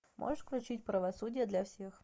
можешь включить правосудие для всех